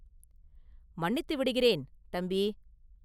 “மன்னித்து விடுகிறேன்; தம்பி!